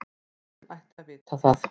Presturinn ætti að vita það.